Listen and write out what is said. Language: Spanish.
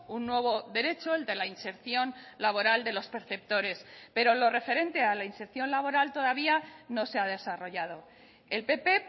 un nuevo derecho el de la inserción laboral de los perceptores pero lo referente a la inserción laboral todavía no se ha desarrollado el pp